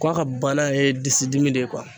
K'a ka bana ye disidimi de ye